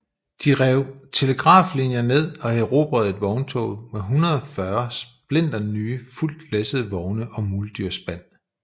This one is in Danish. De rev telegraflinjer ned og erobrede et vogntog med 140 splinternye fuldt læssede vogne og muldyrspan